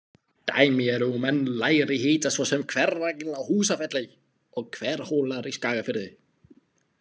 Dæmi eru um enn lægri hita svo sem Hveragil á Húsafelli og Hverhólar í Skagafirði.